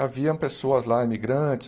Haviam pessoas lá, imigrantes.